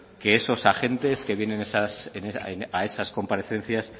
que esos agentes que vienen a esas comparecencias